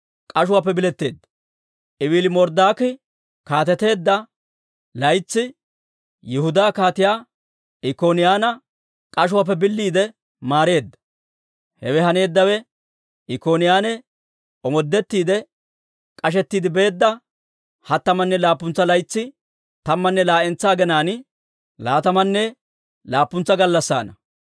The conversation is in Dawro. Ewiili-Marodaaki kaateteedda laytsi Yihudaa Kaatiyaa Ikkoniyaana k'ashuwaappe biliide maareedda. Hewe haneeddawe Ikkoniyaane omoodetti k'ashettiide beedda hattamanne laappuntsa laytsi, tammanne laa"entsa aginaan, laatamanne laappuntsa gallassaana.